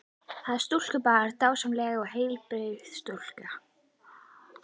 Það er stúlkubarn, dásamleg og heilbrigð stúlka.